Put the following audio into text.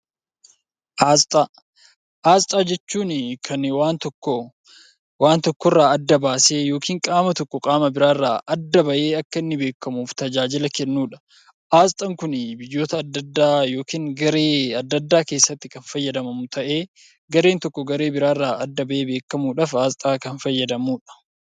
Asxaa jechuun kan waan tokko waan tokko irraa adda baasee yookiin qaama tokko qaama biraarraa adda bahee akka inni beekamuuf tajaajila kan kennudha. Asxaan kuni biyyoota adda addaa yookiin garee adda addaa keessatti kan fayyadamamu ta'ee, gareen tokko garee biraarraa adda bahee beekamuudhaaf asxaa kan fayyadamudha.